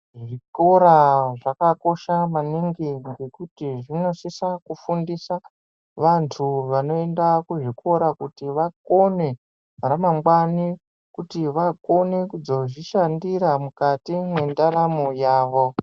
Zvikora zvakakosha maningi ngekuti zvinosisa kufundisa vantu vanoenda kuzvikora kuti vakone ramangwani. Kuti vakone kuzozvishandira mukati mwendaramo yavo.